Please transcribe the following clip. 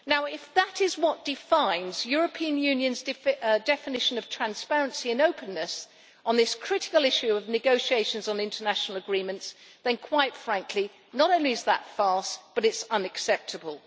If that is what defines the European Union's definition of transparency and openness on this critical issue of negotiations on international agreements, then quite frankly not only is that a farce, it is unacceptable.